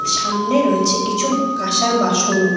সামনে রয়েছে কিছু কাসার বাসনও।